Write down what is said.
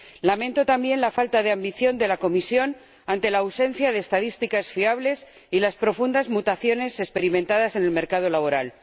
Lamento también la falta de ambición de la Comisión ante la ausencia de estadísticas fiables y las profundas mutaciones experimentadas en el mercado laboral.